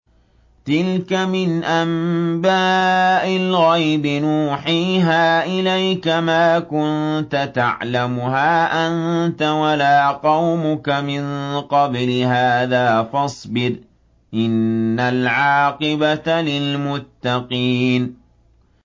تِلْكَ مِنْ أَنبَاءِ الْغَيْبِ نُوحِيهَا إِلَيْكَ ۖ مَا كُنتَ تَعْلَمُهَا أَنتَ وَلَا قَوْمُكَ مِن قَبْلِ هَٰذَا ۖ فَاصْبِرْ ۖ إِنَّ الْعَاقِبَةَ لِلْمُتَّقِينَ